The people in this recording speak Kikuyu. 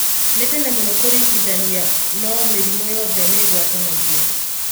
Nĩ tene mũno kũringithania no-mĩrimũ yothe nĩĩgwatanagio.